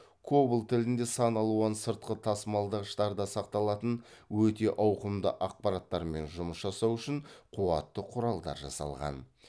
кобол тілінде сан алуан сыртқы тасымалдағыштарда сақталатын өте ауқымды ақпараттармен жұмыс жасау үшін қуатты құралдар жасалған